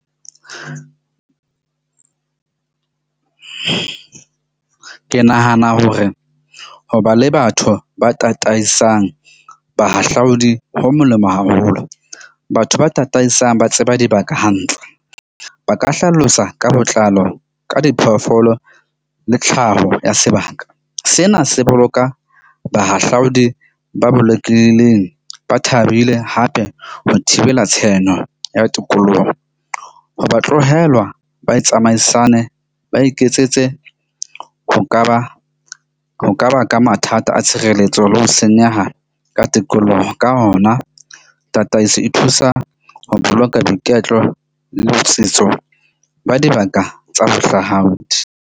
Ke nahana hore ho ba le batho ba tataisang bahahlaodi ho molemo haholo. Batho ba tataisang ba tseba dibaka hantle ba ka hlalosa ka botlalo ka diphoofolo le tlhaho ya sebaka. Sena se boloka bahahlaodi ba bolokileng ba thabile hape ho thibela tshenyo ya tikoloho. Ho ba tlohelwa ba tsamaisane, ba iketsetse ho ka ba ho ka baka mathata a tshireletso le ho senyeha ka tikoloho. Ka hona, tataiso e thusa ho boloka boiketlo le botsitso ba dibaka tsa bohlaudi.